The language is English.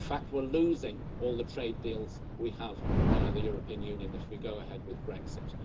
in fact we're losing all the trade deals we have via the European Union if we go ahead with Brexit.